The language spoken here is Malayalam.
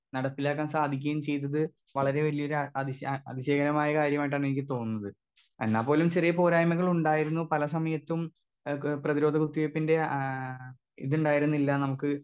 സ്പീക്കർ 2 നടപ്പിലാക്കാൻ സാധിക്കുകയും ചെയ്തത് വളരെ വല്ല്യൊരു ആ അതിശ ആ അതിശയകരമായ കാര്യമായിട്ടാണെനിക്ക് തോന്നുന്നത് എന്നാ പോലും ചെറിയ പോരായ്മകൾ ഉണ്ടായിരുന്നു പല സമയത്തും ഏ പ്രതിരോധ കുത്തിവെപ്പിന്റെ ആ ഇത് ഇണ്ടായിരുന്നില്ല നമുക്ക്.